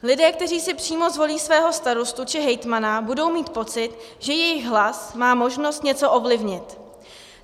Lidé, kteří si přímo zvolí svého starostu či hejtmana budou mít pocit, že jejich hlas má možnost něco ovlivnit.